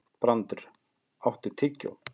Brandr, áttu tyggjó?